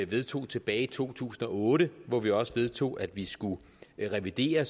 vedtog tilbage i to tusind og otte hvor vi også vedtog at vi skulle revidere